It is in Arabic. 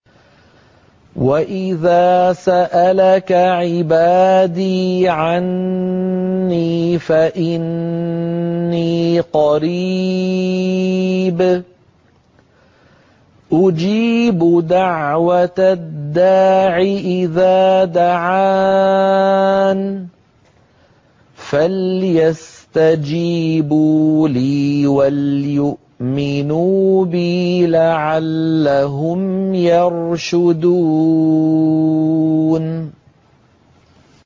وَإِذَا سَأَلَكَ عِبَادِي عَنِّي فَإِنِّي قَرِيبٌ ۖ أُجِيبُ دَعْوَةَ الدَّاعِ إِذَا دَعَانِ ۖ فَلْيَسْتَجِيبُوا لِي وَلْيُؤْمِنُوا بِي لَعَلَّهُمْ يَرْشُدُونَ